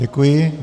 Děkuji.